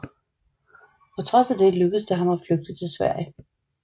På trods af det lykkes det ham at flygte til Sverige